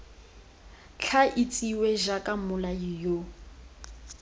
tla itsiwe jaaka mmolai yo